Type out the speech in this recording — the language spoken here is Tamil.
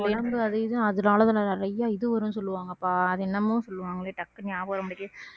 உடம்புல அது இது அதனாலதான் நான் நிறைய இது வரும்னு சொல்லுவாங்கப்பா அது என்னமோ சொல்லுவாங்களே டக்குன்னு ஞாபகம் வர மாட்டிக்குது